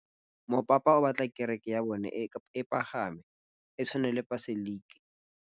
Mopapa o batla kereke ya bone e pagame, e tshwane le paselika.